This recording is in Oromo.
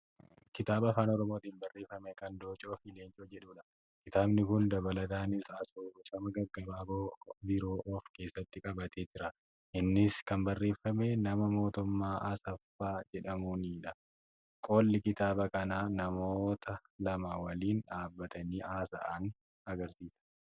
Kitaaba afaan oromootiin barreeffame kan Dooccoofi Leencoo jedhudha. Kitaabni kun dabalataanis asoosama gaggabaaboo biroo of keessatti qabatee jira. Innis kan barreeffame nama Mootummaa Asaffaa jedhamuunidha. Qolli kitaaba kanaa namoota lama waliin dhaabbatanii haasa'an agarsiisa.